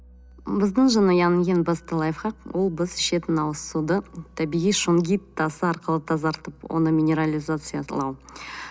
біздің жанұяның ең басты лайфхак ол біз ішетін ауыз суды табиғи шунгит тасы арқылы тазартып оны